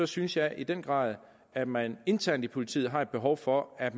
synes jeg i den grad at man internt i politiet har behov for at